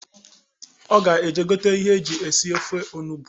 Ọ ga-eje gote ihe eji eshi6ofe onugbu